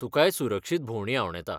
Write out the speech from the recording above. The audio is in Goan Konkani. तुकांय सुरक्षीत भोंवडी आंवडेतां.